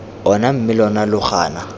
ona mme lona lo gana